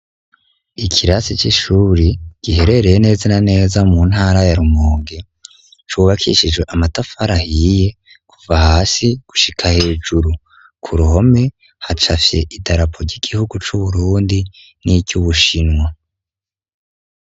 Ikirasi cishure giherereye neza na neza muntara ya Rumonge cubakishijwe amatafari ahiye kuva hasi gushika hejuru. kuruhome hacafye idarapo cigihugu cu Burundi ni ryubushinwa.